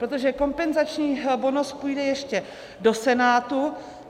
Protože kompenzační bonus půjde ještě do Senátu.